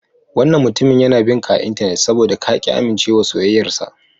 Wannan mutumin yana bin ka a Intanet saboda ka ƙi amincewa soyayyarsa.